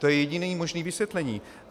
To je jediné možné vysvětlení.